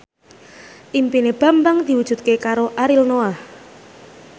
impine Bambang diwujudke karo Ariel Noah